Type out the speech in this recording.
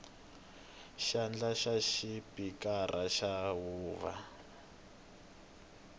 xandla xa xipikara xa huvo